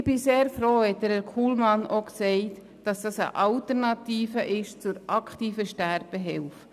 Ich bin sehr froh, hat Herr Kullmann gesagt, es handle sich dabei um eine Alternative zur aktiven Sterbehilfe.